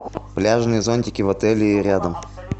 пляжные зонтики в отеле и рядом